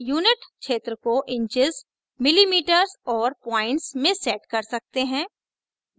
unit क्षेत्र को inches millimetres और points में set कर सकते हैं